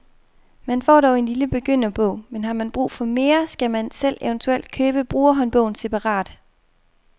Man får dog en lille begynderbog, men har man brug for mere, skal man selv eventuelt købe brugerhåndbogen separat.